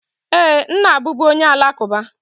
Ee, m na-abụbu onye Alakụba.